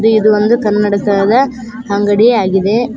ಇದ್ ಇದು ಒಂದು ಕನ್ನಡಕದ ಅಂಗಡಿಯಾಗಿದೆ.